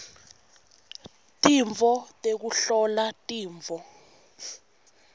tintfo tekuhlola tifo